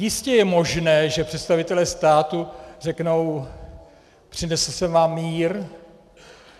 Jistě je možné, že představitelé státu řeknou "přinesl jsem vám mír".